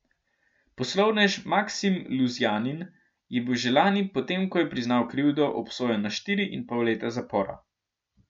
Poslovnež Maksim Luzjanin je bil že lani, potem ko je priznal krivdo, obsojen na štiri in pol leta zapora.